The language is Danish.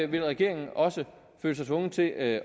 vil regeringen også føle sig tvunget til at